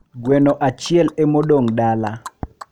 Gweno achiel emodong dala